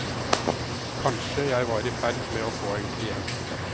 Kanskje jeg var i ferd med å få en klient.